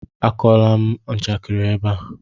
Akọwala m njakịrị ebe a!